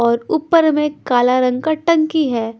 और ऊपर में काला रंग का टंकी है।